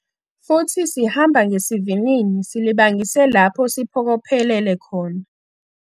Futhi sihamba ngesivinini silibangise lapho siphokophelele khona.